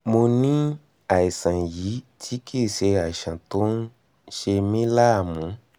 mo ní àìsàn yìí tí kì í ṣe àìsàn tó ń ṣe mí láàmú